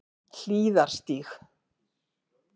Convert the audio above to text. Hlíðarstíg